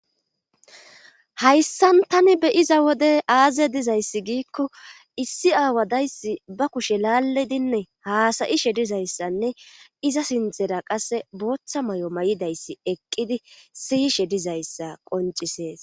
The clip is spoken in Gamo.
hayssan tani beyiza wode aaze dizayssi giikko issi aawadayssi ba kushe laaledinne haasayishe dizayssanne iza sintera qasse booththa may7o may7idayssi eqqidi siyishe dizayssa qoncisees